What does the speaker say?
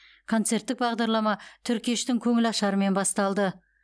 концерттік бағдарлама түркештің көңілашарымен басталды